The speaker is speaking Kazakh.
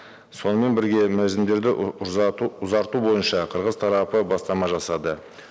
сонымен бірге мерзімдерді ұзарту бойынша қырғыз тарапы бастама жасады